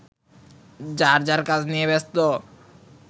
যার যার কাজ নিয়ে ব্যস্ত